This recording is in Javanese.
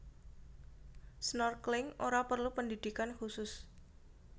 Snorkeling ora perlu pendhidhikan khusus